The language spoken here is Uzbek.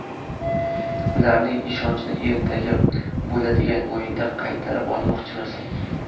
Ularning ishonchini ertaga bo‘ladigan o‘yinda qaytarib olmoqchimiz.